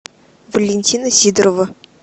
валентина сидорова